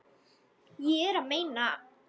Ég er að meina.